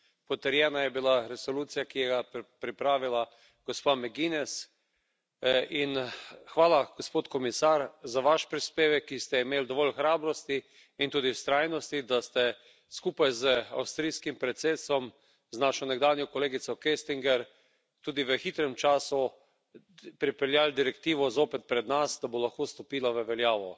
Potrjena je bila resolucija, ki jo je pripravila gospa McGuinness, in hvala gospod komisar za vaš prispevek, ki ste imeli dovolj hrabrosti in tudi vztrajnosti, da ste skupaj z avstrijskim predsedstvom, z našo nekdanjo kolegico Köstinger tudi v hitrem času pripeljali direktivo zopet pred nas, da bo lahko stopila v veljavo.